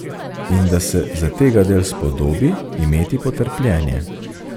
In da se zategadelj spodobi imeti potrpljenje.